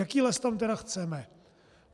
Jaký les tam tedy chceme?